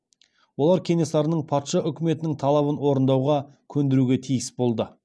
олар кенесарының патша үкіметінің талабын орындауға көндіруге тиіс болды